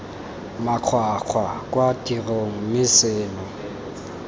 makgwakgwa kwa tirong mme seno